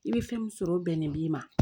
I bɛ fɛn min sɔrɔ o bɛnnen b'i ma